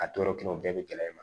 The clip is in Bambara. A tɔɔrɔ kelen o bɛɛ bɛ gɛlɛ i ma